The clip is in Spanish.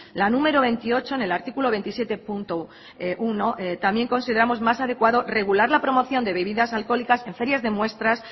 la número veintiocho en el artículo veintisiete punto uno también consideramos más adecuado regular la promoción de bebidas alcohólicas en ferias de muestras